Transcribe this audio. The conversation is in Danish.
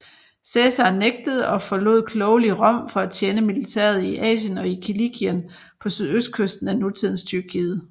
Cæsar nægtede og forlod klogelig Rom for at tjene militæret i Asien og i Kilikien på sydøstkysten af nutidens Tyrkiet